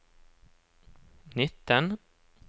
nitten